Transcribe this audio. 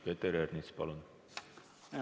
Peeter Ernits, palun!